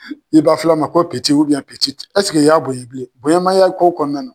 I ba filan ma ko ɛseke i y'a bonya bilen bonya man y'a ko kɔnɔna na.